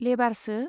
लेबारसो ?